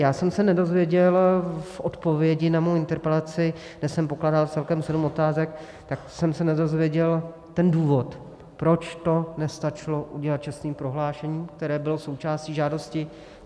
Já jsem se nedozvěděl v odpovědi na svou interpelaci, kde jsem pokládal celkem sedm otázek, tak jsem se nedozvěděl ten důvod, proč to nestačilo udělat čestným prohlášením, které bylo součástí žádosti.